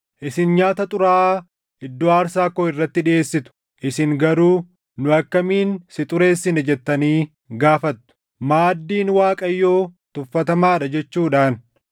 “Isin nyaata xuraaʼaa iddoo aarsaa koo irratti dhiʼeessitu. “Isin garuu, ‘Nu akkamiin si xureessine’ jettanii gaafattu. “Maaddiin Waaqayyoo tuffatamaa dha jechuudhaan.